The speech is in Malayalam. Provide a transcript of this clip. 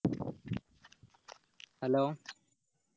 Hello